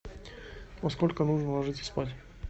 во сколько нужно ложиться спать